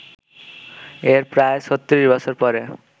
এর প্রায় ৩৬ বছর পরে